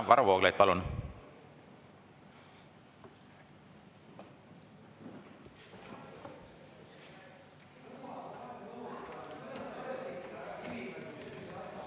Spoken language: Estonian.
Varro Vooglaid, palun!